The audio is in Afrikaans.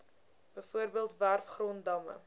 bv werfgrond damme